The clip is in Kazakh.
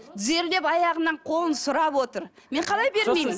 тізерлеп аяғынан қолын сұрап отыр мен қалай бермеймін